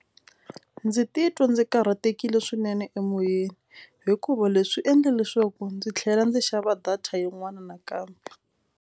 Ndzi titwa ndzi karhatekile swinene emoyeni hikuva leswi endla leswaku ndzi tlhela ndzi xava data yin'wana nakambe.